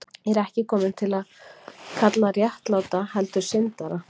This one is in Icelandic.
Ég er ekki kominn til að kalla réttláta, heldur syndara.